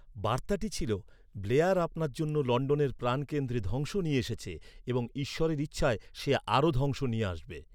বার্তাটি ছিলঃ "ব্লেয়ার আপনার জন্য লন্ডনের প্রাণকেন্দ্রে ধ্বংস নিয়ে এসেছে, এবং ঈশ্বরের ইচ্ছায় সে আরও ধ্বংস নিয়ে আসবে।"